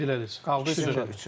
İkisini qeyd elədiniz, qaldı üçü.